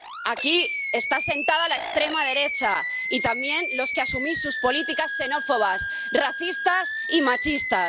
Aquí están sentados la extrema derecha y también los que asumís sus políticas xenófobas, racistas y machistas.